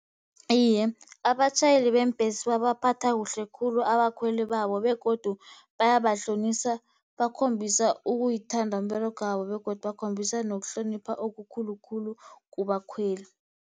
Iye, abatjhayeli beembhesi babaphatha kuhle khulu abakhweli babo, begodu bayahlonisa bakhombisa ukuyithanda umberegwabo, begodu bakhombisa nokuhlonipha okukhulukhulu kubakhweli.